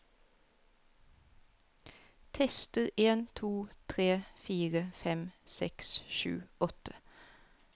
Tester en to tre fire fem seks sju åtte